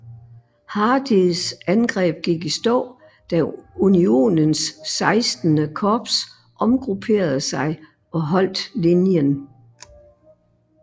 Hardees angreb gik i stå da Unionens XVI korps omgrupperede sig og holdt linjen